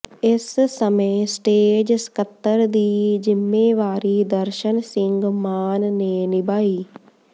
ਇਸ ਸਮੇਂ ਸਟੇਜ ਸਕੱਤਰ ਦੀ ਜਿੰਮੇਵਾਰੀ ਦਰਸ਼ਨ ਸਿੰਘ ਮਾਨ ਨੇ ਨਿਭਾਈ